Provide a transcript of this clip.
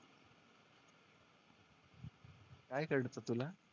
काय कळत तुला?